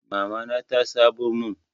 Mamana ta sabon mun.